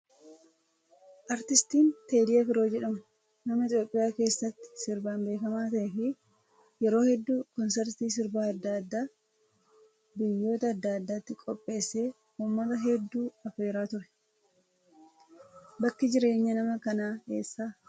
Artistiin Teedii Afroo jedhamu nama Itoophiyaa keessatti sirbaan beekamaa ta'ee fi yeroo hedduu konsartii sirba adda addaa biyyoota adda addaatti qopheessee uummata hedduu affeeraa ture. Bakki jireenyaa nama kanaa eessa?